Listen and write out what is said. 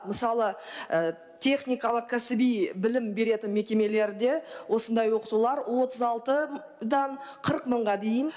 мысалы техникалық кәсіби білім беретін мекемелерде осындай оқытулар отыз алтыдан қырық мыңға дейін